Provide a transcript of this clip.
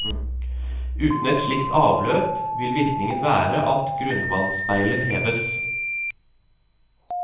Uten et slikt avløp vil virkningen være at grunnvannsspeilet heves.